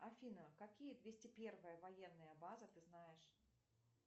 афина какие двести первая военная база ты знаешь